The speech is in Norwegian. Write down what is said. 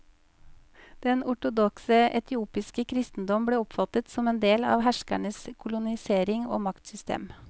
Den ortodokse etiopiske kristendom ble oppfattet som en del av herskernes kolonisering og maktsystem.